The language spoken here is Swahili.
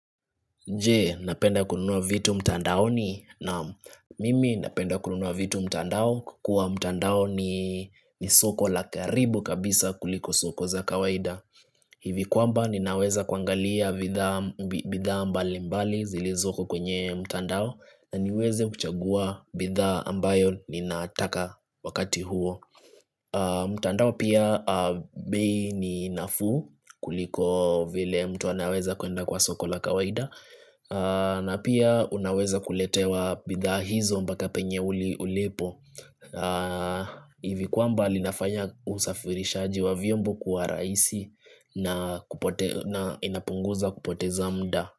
Je, napenda kununua vitu mtandaoni naam mimi napenda kununua vitu mtandao kwa kuwa mtandao ni soko la karibu kabisa kuliko soko za kawaida hivi kwamba ninaweza kuangalia bidhaa mbalimbali zilizoko kwenye mtandao na niweze kuchagua bidhaa ambayo ninataka wakati huo mtandao pia bei ni nafuu kuliko vile mtu anaweza kuenda kwa soko ka kawaida na pia unaweza kuletewa bidhaa hizo mpaka penye ulipo Ivi kwamba linafanya usafirishaji wa vyombo kuwa rahisi na inapunguza kupoteza muda.